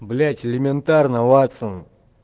блять элементарно ватсон